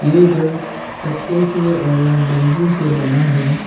ये घर पत्ते से और बम्बू से बना है।